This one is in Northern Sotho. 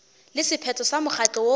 le sephetho sa mokgatlo woo